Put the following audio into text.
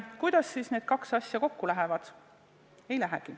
Kuidas siis need kaks asja kokku lähevad?